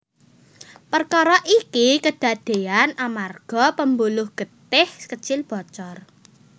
Perkara iki kedadean amarga pembuluh getih kecil bocor